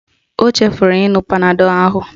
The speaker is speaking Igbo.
Ọ chefuru ịṅụ panadọl ahu